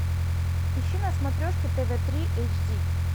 ищи на смотрешке тв три эйч ди